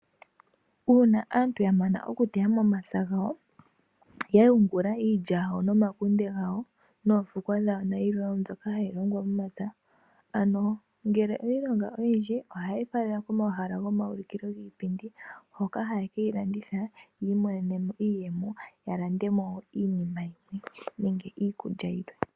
Uuna aantu ya mana okuteya momapya gawo ya yungula iilya yawo nomakunde gawo noofukwa dhawo nayilwe mbyoka hayi longwa momapya, ngele oye yi longa oyindji ohaye yi fala komahala gomaulukilo gopaipindi hoka haye ke yi landitha ya mone mo iiyemo ya lande mo iinima yilwe nenge iikulya yilwe.